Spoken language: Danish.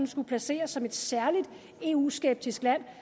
skulle placeres som et særlig eu skeptisk land